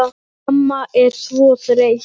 Mamma er svo þreytt.